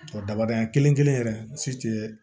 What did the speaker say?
Daba dayan kelen kelen yɛrɛ si tɛ